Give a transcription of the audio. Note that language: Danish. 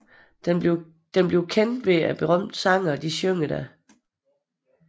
Den bliver kendt ved at berømte sangere synger der